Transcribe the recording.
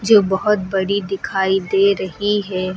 बहोत बड़ी दिखाई दे रही है।